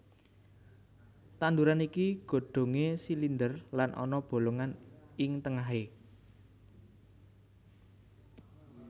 Tanduran iki godhongé silinder lan ana bolongan ing tengahé